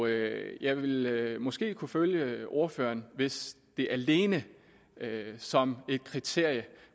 jeg jeg ville måske kunne følge ordføreren hvis det alene som et kriterium